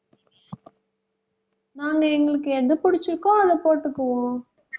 நாங்க எங்களுக்கு எது பிடிச்சிருக்கோ அதை போட்டுக்குவோம்